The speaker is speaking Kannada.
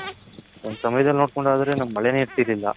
ಒಂದ್ ಸಮಯದಲ್ಲಿ ನೋಡ್ಕೊಳದದ್ರೆ ನಮಗ್ ಮಳೆನೆ ಇರ್ತಿರ್ಲಿಲ್ಲ